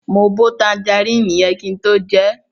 Mo bo tanjaríìnì yẹn kin tó jẹẹ́.